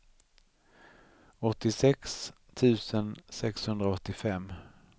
åttiosex tusen sexhundraåttiofem